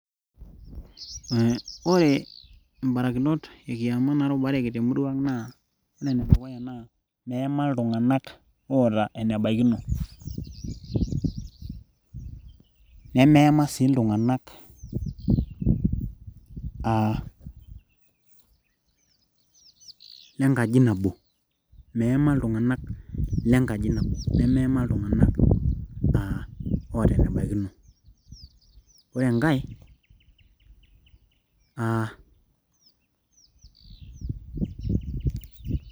Aaa ore imborakinot ekiyama naatubareki temurua aang naa ore enedukuya naa meeyema iltung'anak oota enebaikino nemeema sii iltung'anak aa lengaji nabo meema iltung'anak lenkaji nabo nemeema iltung'anak aa oota enebaikino ore enkae aa .